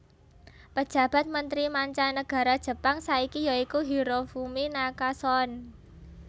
Pejabat Mentri Manca Nagara Jepang saiki ya iku Hirofumi Nakasone